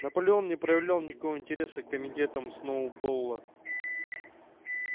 наполеон не проявлял никакого интереса к комитетам сноуболла